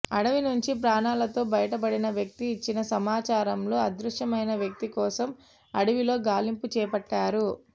అడవి నుంచి ప్రాణాలతో బయటపడిన వ్యక్తి ఇచ్చిన సమాచారంలో అదృశ్యమైన వ్యక్తి కోసం అడవిలో గాలింపు చేపట్టారు